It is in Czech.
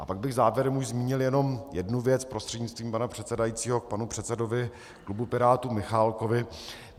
A pak bych závěrem už zmínil jednom jednu věc prostřednictvím pana předsedajícího k panu předsedovi klubu Pirátů Michálkovi.